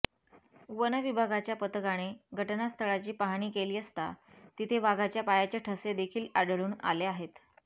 one विभागाच्या पथकाने घटनास्थळाची पाहणी केली असता तिथे वाघाच्या पायाचे ठसे देखील आढळून आले आहेत